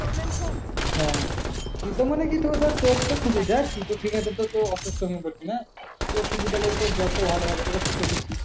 হ্যাঁ তিতো মানে কি ধর তোর তো তিতো খেয়ে তো অসুস্থ হয়ে পড়বি না তোর শুধু জ্বর টা ভালো হবে তিতো খেয়েছিস।